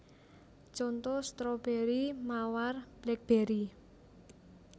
Conto stroberi mawar blackberry